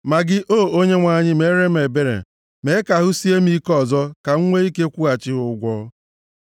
Ma gị, O Onyenwe anyị, meere m ebere, mee ka ahụ sie m ike ọzọ, ka m nwee ike kwụghachi ha ụgwọ.